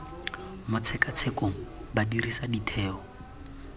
mo tshekatshekong ba dirisa ditheo